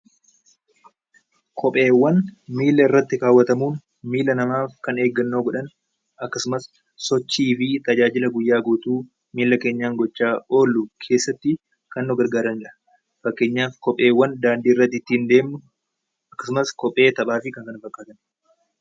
Kopheewwan miila irratti kaawwatamuuf miilaa namaaf kan of eeggannoo godhan akkasumas sochii fi tajaajila guyyaa guutuu miila keenyaan gochaa oolu keessatti kan nu gargaaranidha. Fakkeenyaaf kopheewwan daandii irra ittiin deemnu akkasumas kophee taphaa fi kan kana fakkaatan.